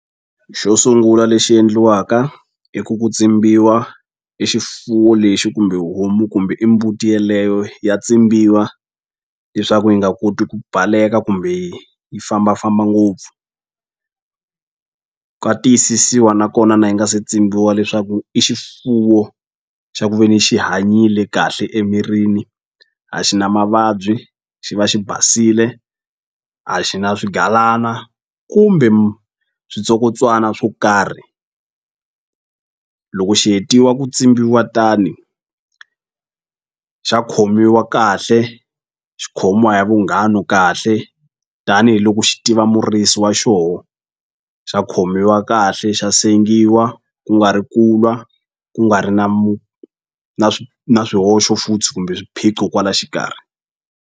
Xo sungula lexi endliwaka i ku ku tsimbiwa e xifuwo lexi kumbe homu kumbe i mbuti yeleyo ya tsimbiwa leswaku yi nga koti ku baleka kumbe yi fambafamba ngopfu ka tiyisisiwa nakona na yi nga se tsimbiwa leswaku i xifuwo xa ku veni xi hanyile kahle emirini a xi na mavabyi xi va xi basile a xi na swigalana kumbe swo karhi loko xi hetiwa ku tsimbiwa tani xa khomiwa kahle xikhomiwa ya vunghanu kahle tanihiloko xi tiva murisi wa xoho xa khomiwa kahle xa sengiwa ku nga ri ku lwa ku nga ri na na na swihoxo futhi kumbe swiphiqo kwala xikarhi.